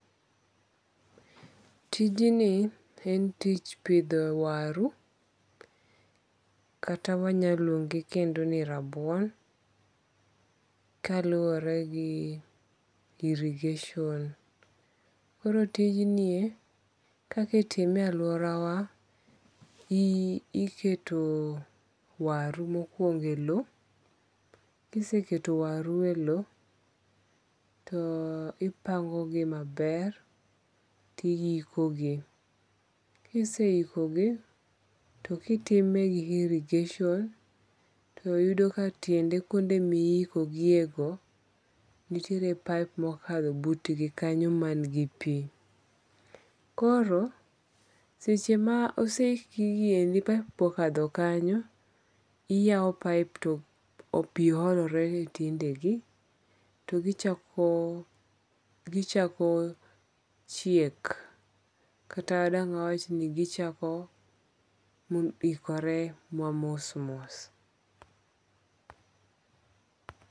Tijni en tich pitho waru kata wanyaluongogi kendo ni rabuon, kaluore gi irrigation koro tijni kaka itime e aluorawa , iketo waru mokuongo e lowo, ka iseketo waru mokuongo e lo to ihikogi, kise hikogi to kitime gi irrigation to iyudo ka tiende ma ihikogigiego nitiere pipe ma okalo butgi kanyo mangi pi, koro seche ma oseikgi gigiendi pipe be okatho kanyo, iyawo pipe to pi yolorene gi tiendegi, gichako chiek, kata dang' wawachni gichako ikore ma mos mos